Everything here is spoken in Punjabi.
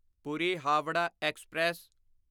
ਪੂਰੀ ਹਾਵੜਾ ਐਕਸਪ੍ਰੈਸ